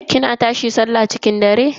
kina tashi sallah cikin dare?